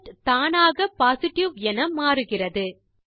result தானாக positive என மாறுகிறது